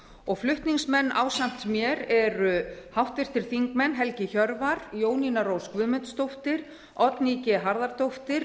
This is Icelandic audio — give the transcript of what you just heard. fiskveiðistjórnar flutningsmenn ásamt mér eru háttvirtir þingmenn helgi hjörvar jónína rós guðmundsdóttir oddný g harðardóttir